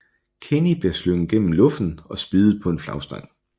Kenny bliver slynget gennem luften og spiddet på en flagstang